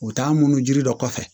U bɛ taa munu jiri dɔ kɔfɛ